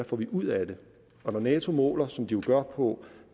får ud af det og når nato måler som de jo gør på